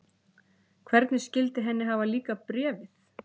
Hvernig skyldi henni hafa líkað Bréfið?